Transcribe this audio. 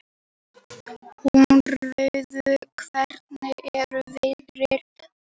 Húnröður, hvernig er veðrið úti?